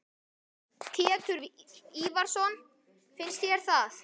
Pétur Ívarsson: Finnst þér það?